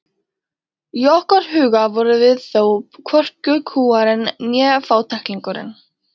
Í okkar huga vorum við þó hvorki kúgarinn né fátæklingurinn.